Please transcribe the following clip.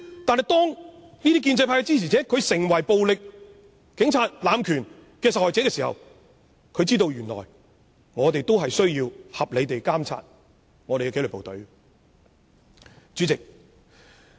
但是，當建制派支持者成為暴力警察濫權的受害者，他才知道有需要合理地監察紀律部隊。